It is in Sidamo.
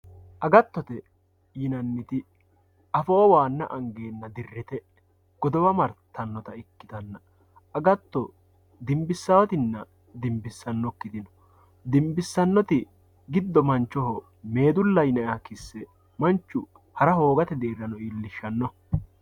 agattote yineemmoti afoo waanna angeenna dirite godowa waanna martannota ikkitanna agatto dimbissaawotinna dimbissannokkiti no dimbisssannoti giddo meedullaho yinayha kisse manchu hara hoogate geeshshano iillishshanno